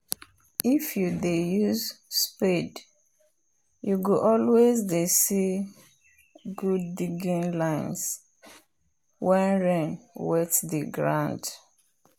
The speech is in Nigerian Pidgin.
if you dey use spade you go always dey see good digging lines wen rain wet the ground